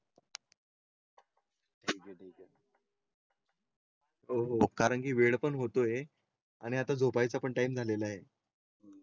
ठीक. आहे ठीक आहे. हो हो कारण की वेळ पण होतो आहे आणि आता झोपायचं पण टाइम झालेला आहे.